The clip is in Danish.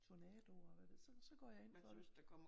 Tornadoer og så går jeg ind for det